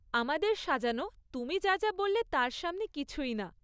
আমাদের সাজানো তুমি যা যা বললে তার সামনে কিছুই না।